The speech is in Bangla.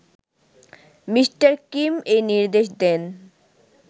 মি: কিম এই নির্দেশ দেন